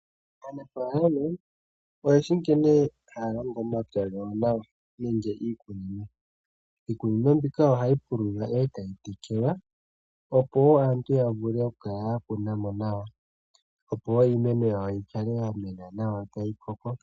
Aanafaalama, oyeshi nkene hayalongo omapya gawo nawa nenge iikunino. Iikunino mbika ohayi pululwa, eta yi tekelwa, opo wo aantu yavule oku kunamo, iimeno yimene nawa eta yi koko.